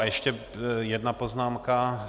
A ještě jedna poznámka.